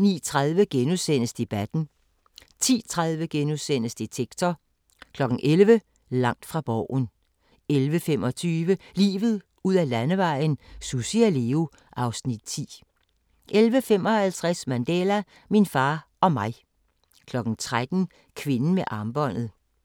09:30: Debatten * 10:30: Detektor * 11:00: Langt fra Borgen 11:25: Livet ud ad Landevejen: Sussi og Leo (Afs. 10) 11:55: Mandela – min far og mig 13:00: Kvinden med armbåndet